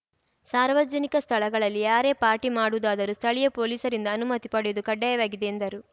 ಸಾರ್ವಜನಿಕ ಸ್ಥಳಗಳಲ್ಲಿ ಯಾರೇ ಪಾರ್ಟಿ ಮಾಡುವುದಾದರೂ ಸ್ಥಳೀಯ ಪೊಲೀಸರಿಂದ ಅನುಮತಿ ಪಡೆಯುವುದು ಕಡ್ಡಾಯವಾಗಿದೆ ಎಂದರು